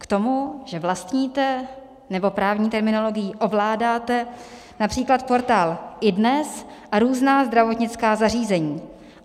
K tomu, že vlastníte - nebo právní terminologií ovládáte - například portál iDNES a různá zdravotnická zařízení.